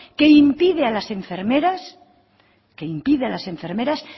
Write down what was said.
que impide a las enfermeras